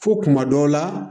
Fo kuma dɔw la